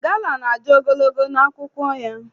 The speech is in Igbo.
Gala na-adị ogologo n'akwụkwọ ya.